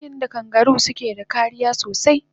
Inason yadda kangaru suke da kariya sosai